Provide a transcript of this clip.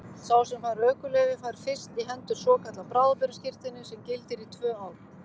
Sá sem fær ökuleyfi fær fyrst í hendur svokallað bráðabirgðaskírteini sem gildir í tvö ár.